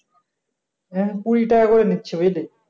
এখন কুড়ি টাকা করে নিচ্ছে বুঝলি?